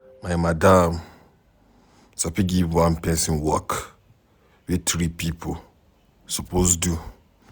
My madam sabi give one pesin work wey three pipo suppose do.